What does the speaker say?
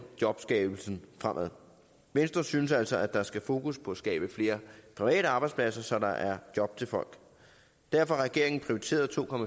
jobskabelsen fremad venstre synes altså at der skal fokus på at skabe flere private arbejdspladser så der er job til folk derfor har regeringen prioriteret to